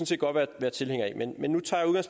set godt være tilhængere af men nu tager jeg